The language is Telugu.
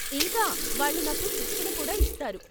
ఇంకా, వాళ్ళు నాకు శిక్షణ కూడా ఇస్తారు.